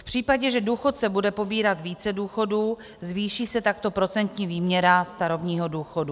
V případě, že důchodce bude pobírat více důchodů, zvýší se takto procentní výměra starobního důchodu.